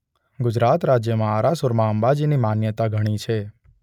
ગુજરાત રાજ્યમાં આરાસુરમાં અંબાજીની માન્યતા ઘણી છે.